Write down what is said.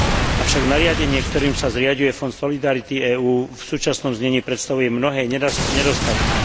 Avšak nariadenie, ktorým sa zriaďuje Fond solidarity EÚ, v súčasnom znení prestavuje mnohé nedostatky.